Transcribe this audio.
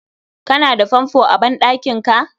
Ka na da fanfo a ban ɗankinka